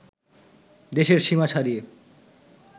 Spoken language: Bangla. দেশের সীমা ছাড়িয়ে